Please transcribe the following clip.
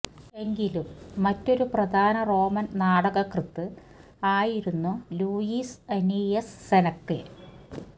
എങ്കിലും മറ്റൊരു പ്രധാന റോമൻ നാടകകൃത്ത് ആയിരുന്നു ലൂഷ്യസ് അനീയസ് സെനക്കെ